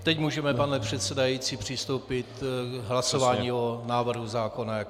Teď můžeme, pane předsedající, přistoupit k hlasování o návrhu zákona jako celku.